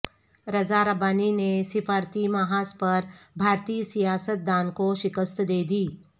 رضا ربانی نے سفارتی محاذ پر بھارتی سیاستدان کو شکست دے دی